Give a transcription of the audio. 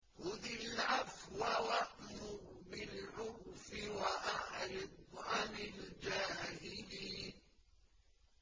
خُذِ الْعَفْوَ وَأْمُرْ بِالْعُرْفِ وَأَعْرِضْ عَنِ الْجَاهِلِينَ